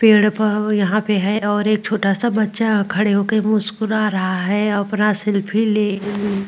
पेड़ यहां पे है और एक छोटा सा बच्चा खड़े होकर मुस्कुरा रहा है और अपना सेल्फी ले --